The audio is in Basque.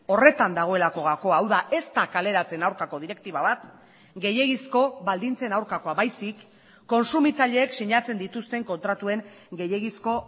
horretan dagoelako gakoa hau da ez da kaleratzen aurkako direktiba bat gehiegizko baldintzen aurkakoa baizik kontsumitzaileek sinatzen dituzten kontratuen gehiegizko